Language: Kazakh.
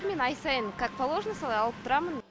мен ай сайын как положено солай алып тұрамын